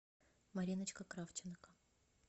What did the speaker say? мариночка кравченко